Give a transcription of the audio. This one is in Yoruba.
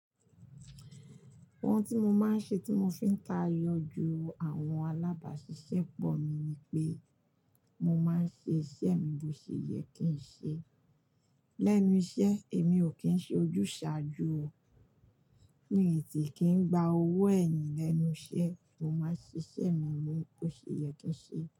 Ohun tí mo máa ń ṣe tí mo fi ń tayọ ju àwọn alábàáṣiṣẹ́ pọ̀ mi ni pé mo máa ń ṣe iṣẹ́ mi bó ṣe yẹ kí n ṣe. Lẹ́nu iṣẹ́ èmi ò kí ń ṣe ojúsàájú o. Ihn sì kí ń gba owó ẹ̀yìn lẹ́nu iṣẹ́, mo máa ń ṣe iṣẹ́ mi bó ṣe yẹ kí n ṣe.